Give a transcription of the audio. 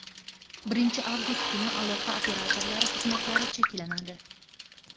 Birinchi avgust kuni aloqa operatorlari xizmatlari cheklanadi.